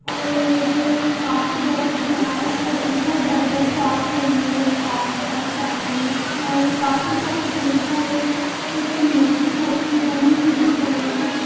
और जो ये काफी बड़ा दिख रहा है इसके ऊपर burger shop momos pizza Chinese और काफी सब कुछ मिलता है एटीन मल्टी-टाइप की बनी हुई दिख रही है।